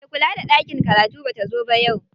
Me kula da ɗakin karatu bata zo ba yau.